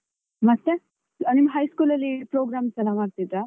ಮತ್ತೆ ನಿಮ್ಮ high school ಅಲ್ಲಿ programs ಎಲ್ಲ ಮಾಡ್ತಿದ್ರಾ?